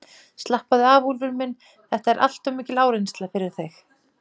Slappaðu af, Úlfur minn, þetta er allt of mikil áreynsla fyrir þig.